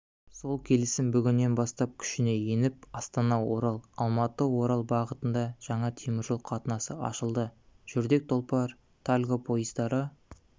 сол келісім бүгіннен бастап күшіне еніп астанаорал алматыорал бағытында жаңа теміржол қатынасы ашылды жүрдек тұлпар-тальго пойыздары